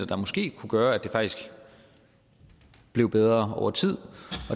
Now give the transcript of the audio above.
der måske kunne gøre at det faktisk blev bedre over tid